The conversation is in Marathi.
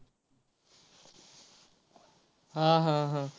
हा हा हा.